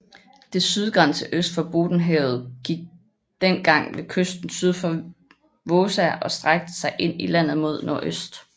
Dets sydgrænse øst for Bottenhavet gik dengag ved kysten syd for Vaasa og strakte sig ind i landet mod nordøst